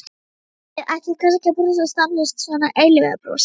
Eða ætti ég kannski að brosa stanslaust, svona eilífðarbrosi?